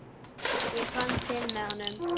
Ég fann til með honum.